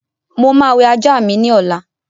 Mo máa wẹ ajá mi ní ọ̀la